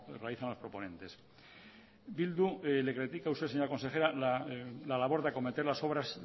realizan los proponentes bildu le critica a usted señora consejera la labor de acometer las obras